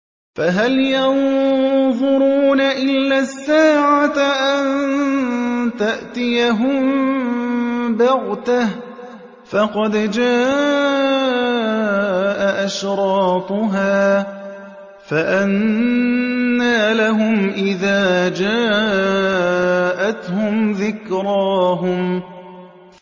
فَهَلْ يَنظُرُونَ إِلَّا السَّاعَةَ أَن تَأْتِيَهُم بَغْتَةً ۖ فَقَدْ جَاءَ أَشْرَاطُهَا ۚ فَأَنَّىٰ لَهُمْ إِذَا جَاءَتْهُمْ ذِكْرَاهُمْ